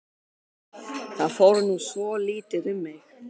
Það fór nú svolítið um mig.